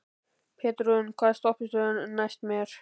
Petrún, hvaða stoppistöð er næst mér?